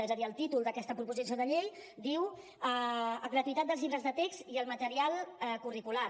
és a dir el títol d’aquesta proposició de llei diu gratuïtat dels llibres de text i el material curricular